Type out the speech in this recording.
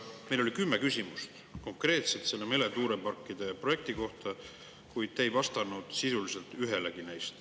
Meil oli kümme küsimust konkreetselt meretuuleparkide projekti kohta, kuid te ei vastanud sisuliselt neist ühelegi.